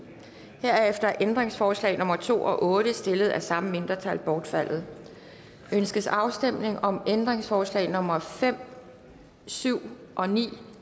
herefter er ændringsforslag nummer to og otte stillet af samme mindretal bortfaldet ønskes afstemning om ændringsforslag nummer fem syv og ni